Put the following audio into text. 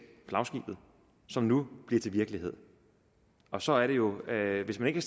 flagskibet som nu bliver til virkelighed og så er det jo at hvis man ikke